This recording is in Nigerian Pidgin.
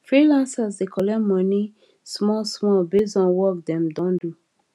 freelancers dey collect money small small based on work dem don do